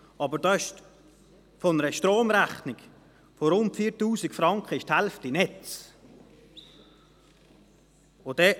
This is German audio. Dieser macht bei einer Stromrechnung von rund 4000 Franken die Hälfte Netze aus.